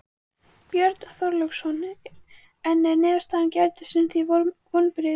Björn Þorláksson: En er niðurstaða gærdagsins þér vonbrigði?